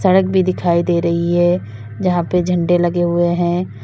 Track भी दिखाई दे रही है जहां पे झंडे लगे हुए है।